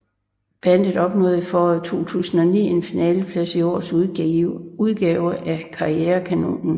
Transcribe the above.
Bandet opnåede i foråret 2009 en finaleplads i årets udgave af Karrierekanonen